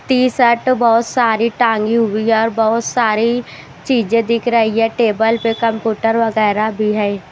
T-shirt बहुत सारी टांगी हुई है और बहुत सारी चीजें दिख रही है टेबल पे कंपूटर वगैरह भी है।